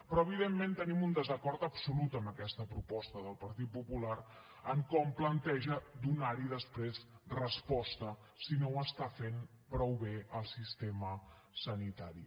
però evidentment tenim un desacord absolut amb aquesta proposta del partit popular en com planteja donar hi després resposta si no ho està fent prou bé el sistema sanitari